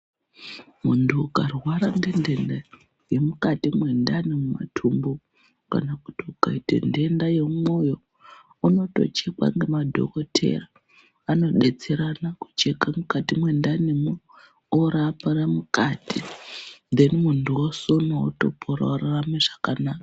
Mundu ukarwara ngenhenda yemukati mwendani, mumatumbu kana kuti ukaite nhenda yemwoyo unotochekwa ngemadhokodheya . Vanodetserana kucheke mukati mwendanimwo orapire mukati munhu otosonwa orarama zvakanaka.